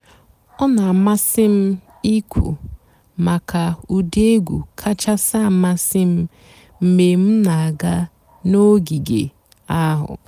ọ́ nà-àmásị́ m íkwú màkà ụ́dị́ ègwú kàchàsị́ àmásị́ m mg̀bé m nà-àgá n'ògíge àhú́.